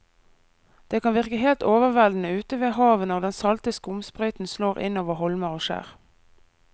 Det kan virke helt overveldende ute ved havet når den salte skumsprøyten slår innover holmer og skjær.